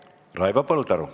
Raivo Põldaru.